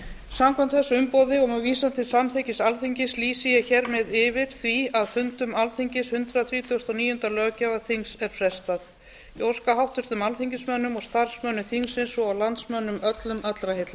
samkvæmt þessu umboði og með vísan til samþykkis alþingis lýsi ég hér með yfir því að fundum hundrað þrítugasta og níunda löggjafarþings er frestað ég óska háttvirtum alþingismönnum starfsmönnum þingsins svo og landsmönnum öllum allra heilla